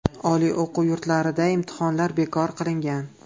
Oliy o‘quv yurtlarida imtihonlar bekor qilingan.